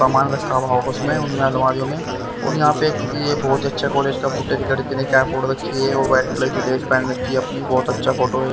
सामान रखा हुआ होगा उसमें उन अलमारियों में और यहाँ पे किसी ये बहुत अच्छा कॉलेज का फोटो एक लड़की ने कैप रखी है और व्हाइट कलर की ड्रेस पहन रखी है अपनी बहुत अच्छा फोटो भी--